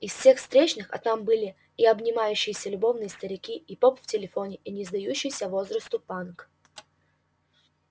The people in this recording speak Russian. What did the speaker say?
из всех встречных а там были и обнимающиеся любовно старики и поп в телефоне и не сдающийся возрасту панк